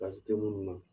Basi tɛ munnu na